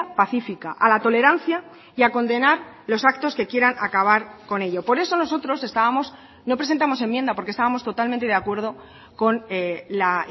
pacífica a la tolerancia y a condenar los actos que quieran acabar con ello por eso nosotros estábamos no presentamos enmienda porque estábamos totalmente de acuerdo con la